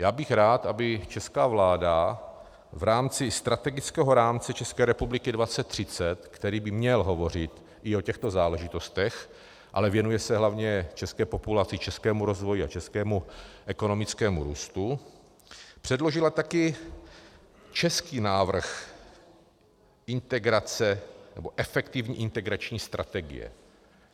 Já bych rád, aby česká vláda v rámci Strategického rámce České republiky 2030, který by měl hovořit i o těchto záležitostech, ale věnuje se hlavně české populaci, českému rozvoji a českému ekonomickému růstu, předložila také český návrh integrace, nebo efektivní integrační strategie.